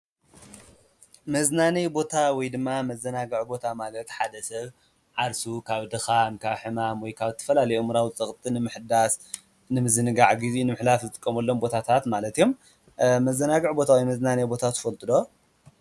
መዝናነይ ቦታ ወይድማ መዘናግጊ ቦታ ማለት ሓደ ሰብ ዓርሱ ካብ ድካም፣ ካብ ሕማም ወይ ድማ፣ ካብ ዝተፈላለዩ ኣእምሮዊ ፀቕጢ ንምሕዳስ ንምዝንጋዕ ግዜኡ ንምሕላፍ ዝጥቀመሎም ቦታታት ማለት እዮም። መዘናግዒ ወይ ድማ መዝናነዪ ቦታ ትፈልጡ ዶ?